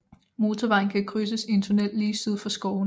Motorvejen kan krydses i en tunnel lige syd for skovene